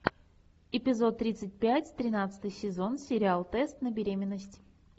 эпизод тридцать пять тринадцатый сезон сериал тест на беременность